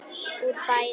úr fæðu